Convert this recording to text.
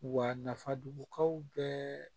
Wa nafaduguw bɛɛ